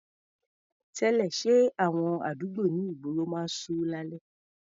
Tẹ́lẹ̀, ṣé àwọn àdúgbò ní ìgboro máa ń ṣú lálẹ́?